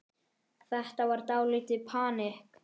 Þetta var dálítið panikk.